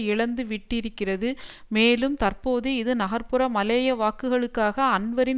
இழந்து விட்டிருக்கிறது மேலும் தற்போது இது நகர்புற மலேய வாக்குகளுக்காக அன்வரின்